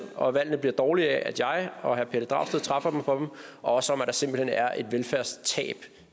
og at valgene bliver dårligere af at jeg og herre pelle dragsted træffer dem for dem og også om at der simpelt hen er et velfærdstab